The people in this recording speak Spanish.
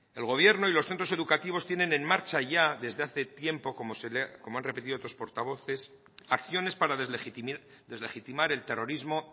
el gobierno y los centros educativos tienen en marcha ya desde hace tiempo como han repetido otros portavoces acciones para deslegitimar el terrorismo